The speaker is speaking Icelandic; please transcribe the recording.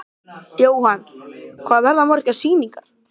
sem í andarslitrunum vildi að heimurinn færist með honum.